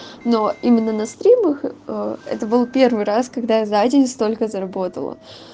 но именно на стримах это был первый раз когда я за день столько заработала